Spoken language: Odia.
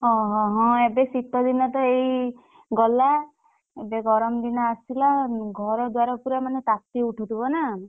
ହଁ ହଁ ଏବେ ଶୀତ ଦିନତ ଏଇ ଗଲା। ଏବେ ଗରମ୍ ଦିନ ଆସିଲା ଘର ଦ୍ୱାର ପୁରା ମାନେ ତାତି ଉଠୁ ଥିବ ନାଁ।